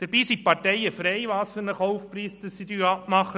Dabei sind die Parteien frei, welchen Verkaufspreis sie abmachen.